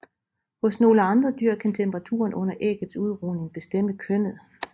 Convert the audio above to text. Hos nogle andre dyr kan temperaturen under æggets udrugning bestemme kønnet